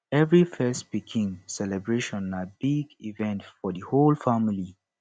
every first pikin celebration na big event for di whole family